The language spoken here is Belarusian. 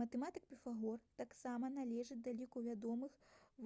матэматык піфагор таксама належыць да ліку вядомых